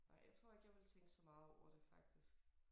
Nej jeg tror ikke jeg ville tænke så meget over det faktisk